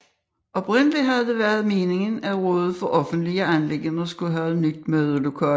Oprindeligt havde det også været meningen at rådet for offentlige anliggender skulle have et nyt mødelokale